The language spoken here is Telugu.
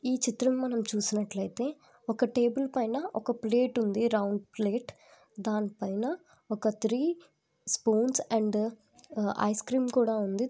ఈ చిత్రంలో చూసినట్లయితే ఒక టేబుల్ పైన ఒక ప్లేట్ ఉంది రౌండ్ ప్లేట్ అండ్ పైన ఒక three spoons and ice cream కూడా ఉంది